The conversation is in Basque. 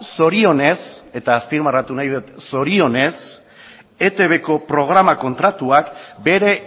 zorionez eta azpimarratu nahi dut zorionez etbko programa kontratua bere